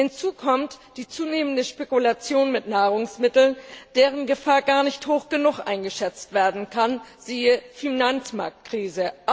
Hinzu kommt die zunehmende Spekulation mit Nahrungsmitteln, deren Gefahr gar nicht hoch genug eingeschätzt werden kann, siehe Finanzmarktkrise.